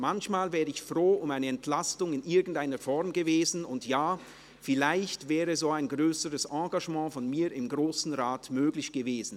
Manchmal wäre ich froh um eine Entlastung in irgendeiner Form gewesen und ja, vielleicht wäre so ein grösseres Engagement von mir im Grossen Rat möglich gewesen.